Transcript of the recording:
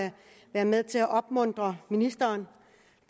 at være med til at opmuntre ministeren